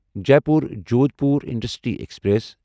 Jaipur Jodhpur intercity express